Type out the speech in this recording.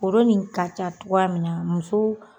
Foro nin ka ca togoya min na muso